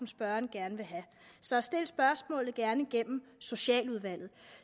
spørgeren gerne vil have så stil gerne spørgsmålet gennem socialudvalget